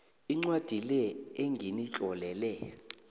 incwadi le enginitlolele